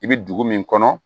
I bɛ dugu min kɔnɔ